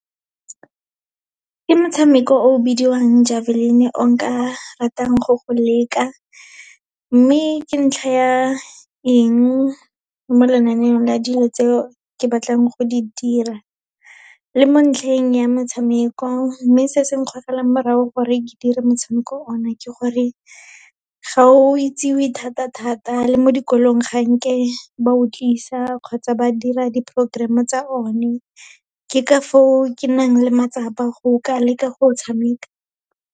Ke motshameko o o bidiwang javelin, o nka ratang go go leka. Mme ka ntlha ya eng mo lenaneong la dilo tseo ke batlang go di dira, le mo ntlheng ya motshameko, mme se se nkgogelang morago gore ke dire motshameko o na ke gore, ga o itsewe thata-thata, le mo dikolong ga nke ba o tlisa kgotsa ba dira di-programme tsa one. Ke ka foo ke nang le matsapa go ka leka go o tshameka.